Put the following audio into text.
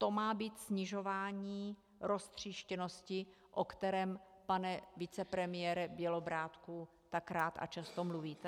To má být snižování roztříštěnosti, o kterém, pane vicepremiére Bělobrádku, tak rád a často mluvíte?